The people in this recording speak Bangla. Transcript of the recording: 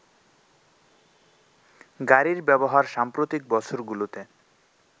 গাড়ির ব্যবহার সাম্প্রতিক বছরগুলোতে